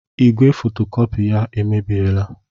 Igwe fotokopị ya emebiela.